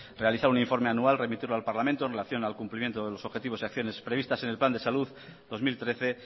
realizar un informe anual remitirlo al parlamento en relación al cumplimiento de los objetivos y acciones previstas en el plan de salud dos mil trece